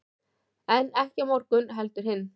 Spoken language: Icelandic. en ekki á morgun heldur hinn